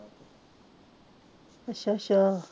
ਅੱਛਾ ਅੱਛਾ